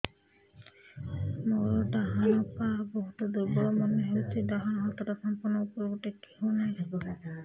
ମୋର ଡାହାଣ ପାଖ ବହୁତ ଦୁର୍ବଳ ମନେ ହେଉଛି ଡାହାଣ ହାତଟା ସମ୍ପୂର୍ଣ ଉପରକୁ ଟେକି ହେଉନାହିଁ